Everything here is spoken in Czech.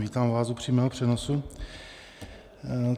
Vítám vás u přímého přenosu.